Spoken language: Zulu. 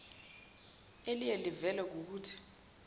eliye livele kukuthi